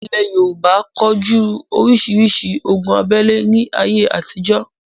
Ilẹ̀ Yorùbá ko jú orísirísi ogun abẹ́le ní ayé àtijọ́